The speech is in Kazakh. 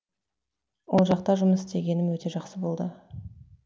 ол жақта жұмыс істегенім өте жақсы болды